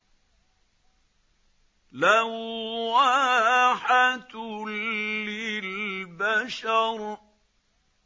لَوَّاحَةٌ لِّلْبَشَرِ